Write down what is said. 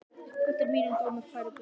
Þetta er að mínum dómi frábær spurning.